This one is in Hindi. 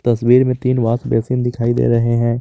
तस्वीर में तीन वाश बेसिन दिखाई दे रहे हैं।